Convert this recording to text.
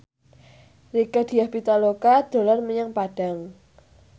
Rieke Diah Pitaloka dolan menyang Padang